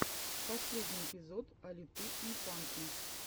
последний эпизод алиты инфанты